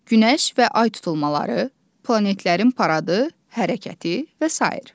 Günəş və Ay tutulmaları, planetlərin paradı, hərəkəti və sair.